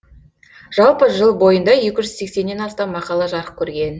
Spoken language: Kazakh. жалпы жыл бойында екі жүз сексеннен астам мақала жарық көрген